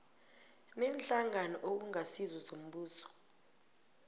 neenhlangano okungasizo zombuso